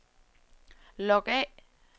log af